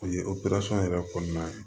O ye yɛrɛ kɔnɔna ye